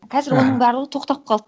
қазір аха оның барлығы тоқтап қалды